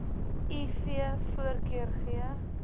iv voorkeur gee